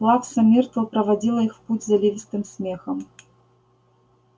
плакса миртл проводила их в путь заливистым смехом